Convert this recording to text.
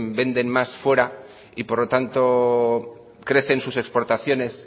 venden más fuera y por lo tanto crecen sus exportaciones